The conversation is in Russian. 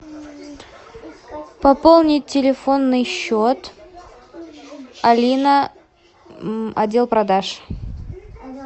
пополнить телефонный счет алина отдел продаж